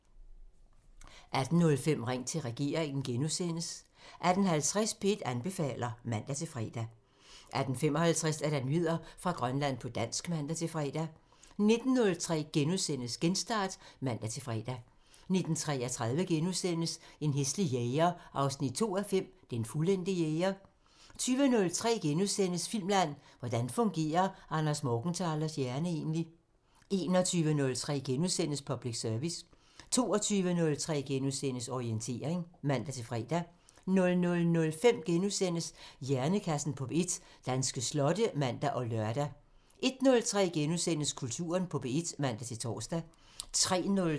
18:05: Ring til regeringen *(man) 18:50: P1 anbefaler (man-fre) 18:55: Nyheder fra Grønland på dansk (man-fre) 19:03: Genstart *(man-fre) 19:33: En hæslig jæger 2:5 – Den fuldendte jæger * 20:03: Filmland: Hvordan fungerer Anders Morgenthalers hjerne egentlig? * 21:03: Public Service *(man) 22:03: Orientering *(man-fre) 00:05: Hjernekassen på P1: Danske slotte *(man og lør) 01:03: Kulturen på P1 *(man-tor)